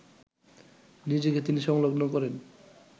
নিজেকে তিনি সংলগ্ন করেন